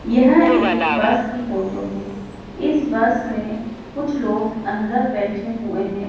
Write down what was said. यह एक बस की फोटो है इस बस में कुछ लोग अंदर बैठे हुए हैं।